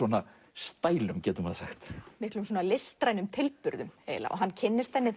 stælum miklum listrænum tilburðum eiginlega hann kynnist henni